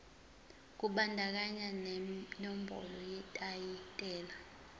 kubandakanya nenombolo yetayitela